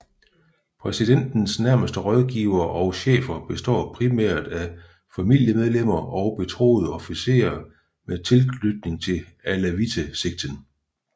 Præsidentens nærmeste rådgivere og chefer består primært af familiemedlemmer og betroede officerer med tilknytning til Alawite sekten